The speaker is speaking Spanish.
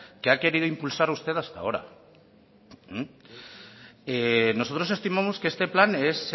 que ha querido impulsar usted hasta ahora nosotros estimamos que este plan es